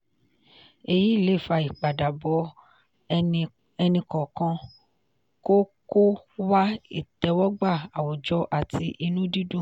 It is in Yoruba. èyí le fa ipadabọ ẹni kọọkan kó kó wá ìtẹ́wọ́gbà àwùjọ àti inú dídùn.